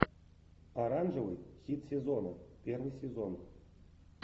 оранжевый хит сезона первый сезон